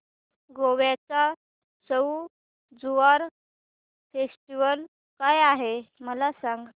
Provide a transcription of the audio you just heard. गोव्याचा सउ ज्युआउ फेस्टिवल काय आहे मला सांग